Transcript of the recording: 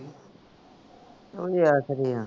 ਉਹ ਹੀ ਆਖਦੇ ਆ